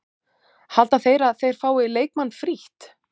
Halda þeir að þeir fái leikmann frítt?